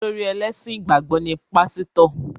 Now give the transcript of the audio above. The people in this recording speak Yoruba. Olórí ẹlẹ́sìn ìgbàgbọ́ ni Pásítọ̀